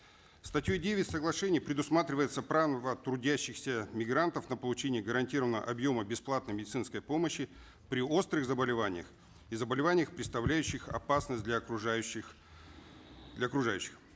статьей девять соглашения предусматривается право трудящихся мигрантов на получение гарантированного объема бесплатной медицинской помощи при острых заболеваниях и заболеваниях представляющих опасность для окружающих для окружающих